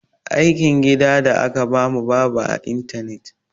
Aikin gida da aka ba mu babu a intanet.